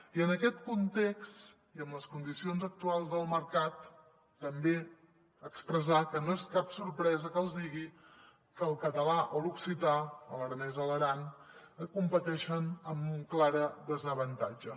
i en aquest context i amb les condicions actuals del mercat també expressar que no és cap sorpresa que els digui que el català o l’occità l’aranès a l’aran competeixen amb clar desavantatge